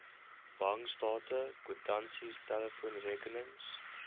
bankstate kwitansies telefoonrekenings